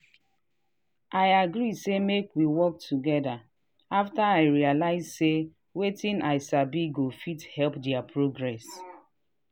i agree say make we work together after i realize say wetin i sabi go fit help their progress.